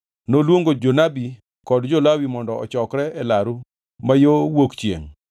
Noluongo jonabi kod jo-Lawi mondo ochokre e laru ma yo wuok chiengʼ.